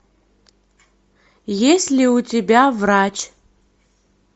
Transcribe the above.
есть ли у тебя врач